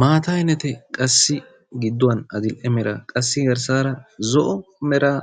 Maata ayinate qassi gidduwan adil'e mera qassi garssaara zo'o meraa